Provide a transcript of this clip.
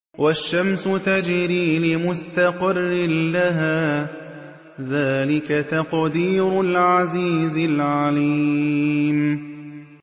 وَالشَّمْسُ تَجْرِي لِمُسْتَقَرٍّ لَّهَا ۚ ذَٰلِكَ تَقْدِيرُ الْعَزِيزِ الْعَلِيمِ